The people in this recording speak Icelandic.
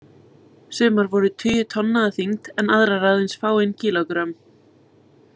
Sumar voru tugi tonna að þyngd en aðrar aðeins fáein kílógrömm.